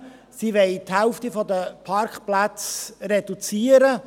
Sie will die Parkplätze um die Hälfte reduzieren.